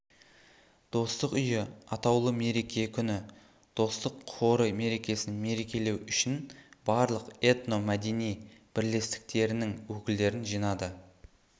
достық үйі атаулы мереке күні достық хоры мерекесін мерекелеу үшін барлық этномәдени бірлестіктерінің өкілдерін жинады